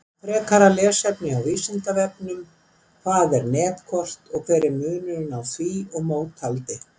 Frekara lesefni á Vísindavefnum Hvað er netkort og hver er munurinn á því og mótaldi?